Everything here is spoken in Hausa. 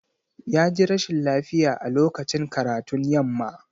Ya ji rashin lafiya a lokacin karatun yamma.